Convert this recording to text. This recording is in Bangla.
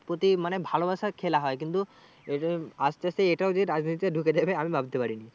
প্রতি মানে ভালোবাসার খেলা হয় কিন্তু আস্তে আস্তে এটাও যে রাজনীতিতে ঢুকে যাবে আমি ভাবতে পারিনি।